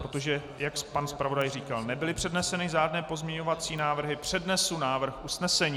Protože, jak pan zpravodaj říkal, nebyly předneseny žádné pozměňovací návrhy, přednesu návrh usnesení.